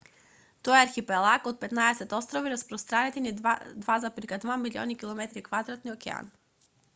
тоа е архипелаг од 15 острови распространети низ 2,2 милиони km2 океан